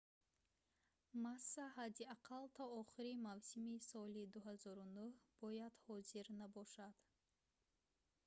масса ҳадди ақал то охири мавсими соли 2009 бояд ҳозир набошад